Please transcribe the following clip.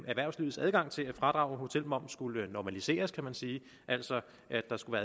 erhvervslivets adgang til fradrag for hotelmoms skulle normaliseres kan man sige altså at der skulle